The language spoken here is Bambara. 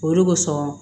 Olu kosɔn